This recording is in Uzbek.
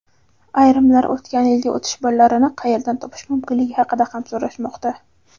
Ayrimlar o‘tgan yilgi o‘tish ballarini qayerdan topish mumkinligi haqida ham so‘rashmoqda.